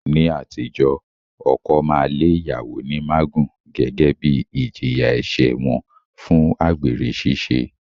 Ní àtijọ́, ọkọ máa lé ìyàwó ní mágùn gẹ́gẹ́ bí ìjìyà ẹ̀ṣẹ̀ wọn fún àgbèrè ṣiṣẹ́